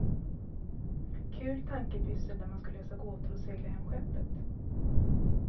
Kul tankepyssel där man ska lösa gåtor och segla hem skeppet.